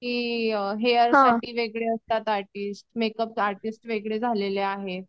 की अ हेअर साठी वेगळे असतात आर्टिस्ट मेकअप आर्टिस्ट वेगळे झालेले आहेत.